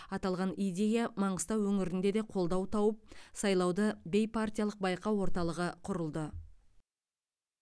аталған идея маңғыстау өңірінде де қолдау тауып сайлауды бейпартиялық байқау орталығы құрылды